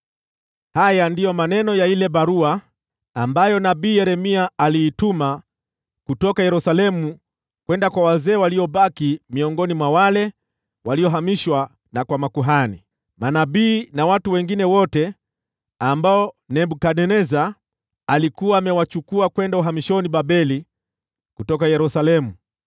Haya ndiyo maneno ya ile barua ambayo nabii Yeremia aliituma kutoka Yerusalemu kwenda kwa wazee waliobaki miongoni mwa wale waliohamishwa, na kwa makuhani, manabii na watu wengine wote ambao Nebukadneza alikuwa amewachukua kwenda uhamishoni Babeli kutoka Yerusalemu.